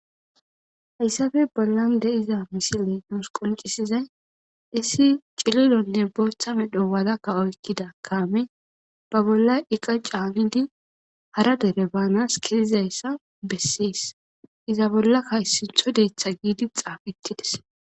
hayssafe bollan de7iza misile nuus qoncisizay issi cililonne booththa medho waadakka oykkida kaame ba bollay iqa caamidi hara dere baanas kezizayssa bessees iza bolla kayssithodeetha giidi xaafettides